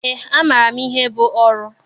Eé, amaara m ihe bụ oru.